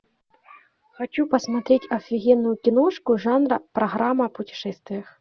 хочу посмотреть офигенную киношку жанра программа о путешествиях